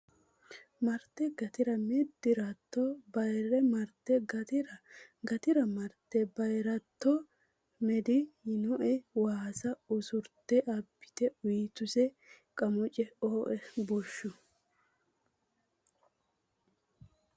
marte Gatira meddi ratto bayi marte Gatira Gatira marte bayi ratto meddi yiino waasa usurte abbite uytuse Qamuce Ooe bushshu !